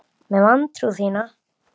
Með vantrú þína.